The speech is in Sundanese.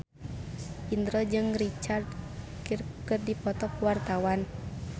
Indro jeung Richard Gere keur dipoto ku wartawan